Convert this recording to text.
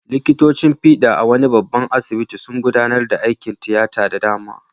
Likitocin fiɗa a wani babban asibiti sun gudanar da aikin tiyata da dama.